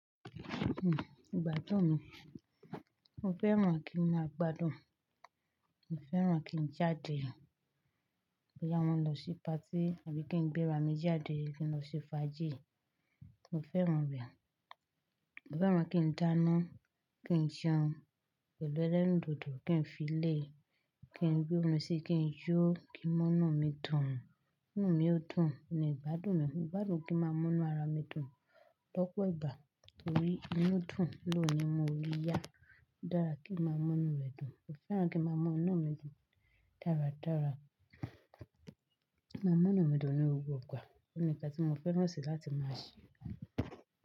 Hmm igbadun mi. Mo fẹ́ràn kí n máa gbádùn, mo fẹ́ràn kí n jáde, pẹ́ àwọn ń lọ sí patí àbí kí n gbé ra mi jáde kí n lọ ṣe fàájì. Mo fẹ́ràn rẹ̀. Mo fẹ́ràn kí n dáná, kí n jẹun pẹ̀lú ẹlẹ́rùndodò, kí n fi ilẹ̀, kí n rí omi sí, kí n yó kí mọ́nà mi dùn. Hmm inú mi yóò dùn ni ìgbádùn mi. Ìgbádùn kí n má mú inà ara mi dùn lọ́pọ̀ ìgbà torí inú dùn ló ni mo rí yá. Dára kí n má mú inu mi dùn. Mo fẹ́ràn kí n má mú inu mi dùn dáradára. Máa mú inu mi dùn ní gbogbo ìgbà. Ó ní kán tí mo fẹ́ràn sí láti máa ṣẹ.